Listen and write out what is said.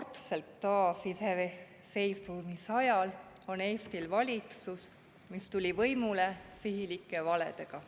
Esmakordselt taasiseisvuse ajal on Eestil valitsus, mis tuli võimule sihilike valedega.